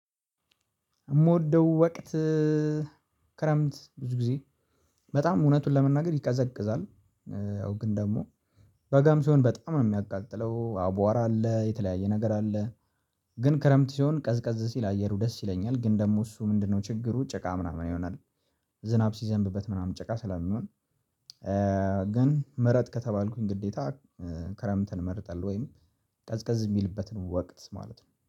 የምወደው ወቅት ክረምት ብዙ ጊዜ በጣም እውነቱን ለመናገር ይቀዘቅዛል። ያው ግን ደግሞ በጋም ሲሆን በጣም ነው የሚያቃጥለው አቧራ አለ የተለያየ ነገር አለ። ግን ክረምት ሲሆን ቀዝቀዝ ሲል አየሩ ደስ ይለኛል ግን ደግሞ እሱ ምንድነው ችግሩ ጭቃ ምናምን ይሆናል። ዝናብ ሲዘንብበት ምናምን ጭቃ ስለሚን። ግን ምረጥ ከተባልኩኝ ግዴታ ክረምትን መርጣለሁ። ወይም ቀዝቀዝ የሚልበትን ወቅት ማለት ነው